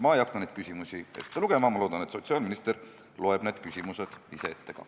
Ma ei hakka neid küsimusi ette lugema, ma loodan, et sotsiaalminister loeb need küsimused ise ette.